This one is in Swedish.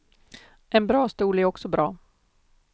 En bra stol är också bra.